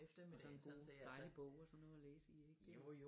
Og så en god dejlig bog og så noget at læse i ik